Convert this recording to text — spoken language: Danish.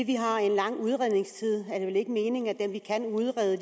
vi har en lang udredningstid er det vel ikke meningen at dem vi kan udrede